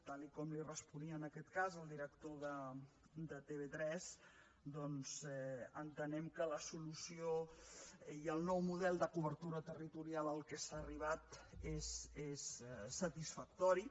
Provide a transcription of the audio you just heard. tal com li responia en aquest cas el director de tv3 doncs entenem que la solució i el nou model de cobertura territorial a què s’ha arribat és satisfactori